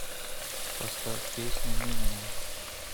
поставь песня минимум